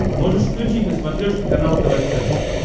можешь включить на смотрешке канал тв центр